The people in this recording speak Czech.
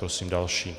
Prosím další.